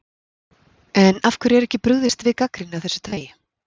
En af hverju er ekki brugðist við gagnrýni af þessu tagi?